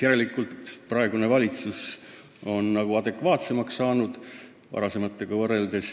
Järelikult praegune valitsus suhtub asjasse adekvaatsemalt kui varasemad.